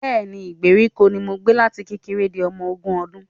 Bẹ́ẹ̀ni, ìgbèríko ni mo gbé láti kékeré di ọmọ ogún ọdún